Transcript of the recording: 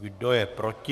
Kdo je proti?